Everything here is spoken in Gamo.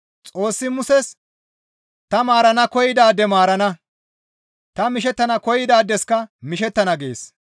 Xoossi Muses, «Ta maarana koyidaade maarana; ta mishettana koyidaadeska mishettana» gees.